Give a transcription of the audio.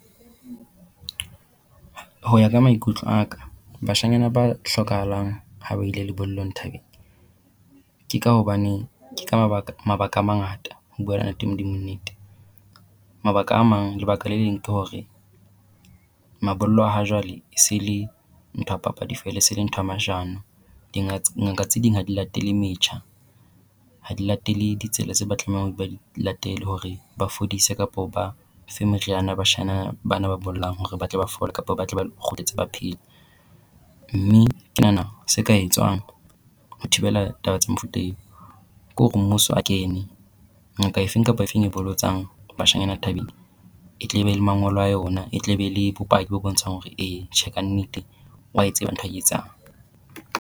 Ho ya ka maikutlo a ka bashanyana ba hlokahalang ha ba ile lebollong thabeng ke ka hobane ke mabaka mabaka a mangata ho buela ntate Modimo nnete. Mabaka a mang, lebaka le leng ke hore mabollo a hajwale e se le ntho ya papadi feela e se le ntho ya mashano. Ngaka tse ding ha di latele metjha, ha di latele ditsela tse ba tlamehang hore ba di latele hore ba fodise kapo ba fe meriana bashana bana ba bollang hore ba tle ba fole kapa ba tle ba kgutle ntse ba phela. Mme ke nahana se ka etswang ho thibela taba tsa mofuta eo, ke hore mmuso a kene. Ngaka efeng kapa efeng e bolotsang bashanyana thabeng e tle e be le mangolo a yona, e tle be le bopaki bo bontshang hore ee tjhe kannete wa e tseba ntho e a etsang.